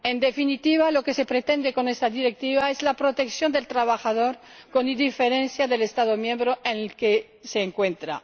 En definitiva, lo que se pretende con esta Directiva es la protección del trabajador con independencia del Estado miembro en el que se encuentre.